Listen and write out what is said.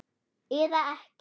Eða ekki?